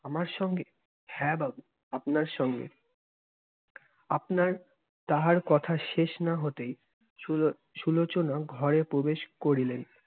আমার সঙ্গে? হ্যা বাবু, আপনার সঙ্গে। আপনার- তাঁহার কথা শেষ না হতেই সুলো~ সুলোচনা ঘরে প্রবেশ করিলেন।